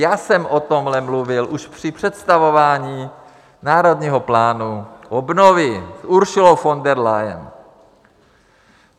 Já jsem o tomhle mluvil už při představování Národního plánu obnovy s Ursulou von der Leyen.